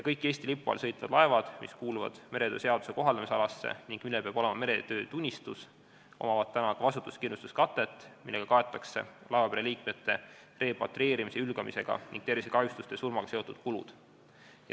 Kõikidel Eesti lipu all sõitvatel laevadel, mis kuuluvad meretöö seaduse kohaldamisalasse ning millel peab olema meretöötunnistus, on vastutuskindlustuskate, millega kaetakse laevapere liikmete repatrieerimise, hülgamise ning tervisekahjustuse ja surmaga seotud kulud.